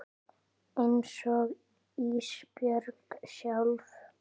Einsog Ísbjörg sjálf.